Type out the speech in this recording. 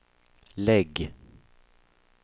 lägg